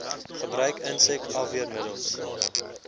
gebruik insek afweermiddels